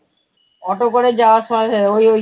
auto করে যাওয়ার সময়